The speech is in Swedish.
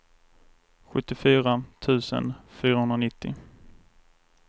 sjuttiofyra tusen fyrahundranittio